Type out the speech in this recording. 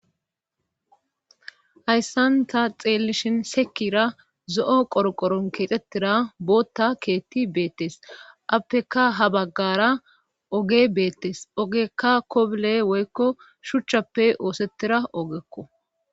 Hayssanta xeellishin sekira zo7o qoroqoron keexettira bootta keetti beettes appeka habaggara oge beettes ogekka kobule woykko shuchchappe oosettira ogekko